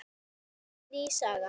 Svo kom ný saga.